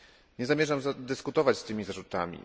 Nie zamierzam dyskutować z tymi zarzutami.